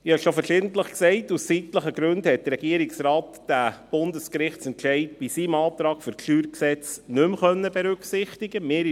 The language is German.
Ich habe schon verschiedentlich gesagt, dass der Regierungsrat aus zeitlichen Gründen den Bundesgerichtsentscheid bei seinem Antrag für das StG nicht mehr berücksichtigen konnte.